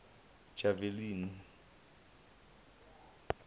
javani